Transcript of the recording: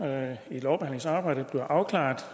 at det